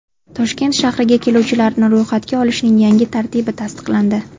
Toshkent shahriga keluvchilarni ro‘yxatga olishning yangi tartibi tasdiqlandi.